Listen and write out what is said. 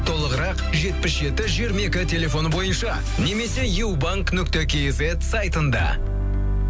толығырақ жетпіс жеті жиырма екі телефоны бойынша немесе ю банк нүтке кизет сайтында